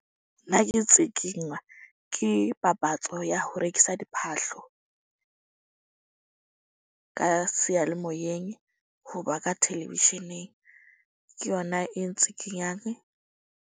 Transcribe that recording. Nna ke tsikinywa ke papatso ya ho rekisa diphahlo ka seyalemoyeng. Hoba ka television-eng ke yona e ntsikinyang.